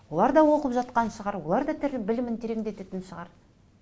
олар да оқып жатқан шығар олар да білімін терендететін шығар